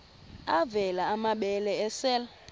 avela amabele esel